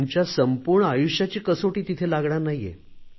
तुमच्या संपूर्ण आयुष्याची कसोटी तिथे लागणार नाहीये